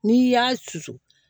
N'i y'a susu